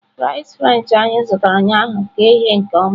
Fries french anyị zụtara ụnyaahụ ka eghe nke ọma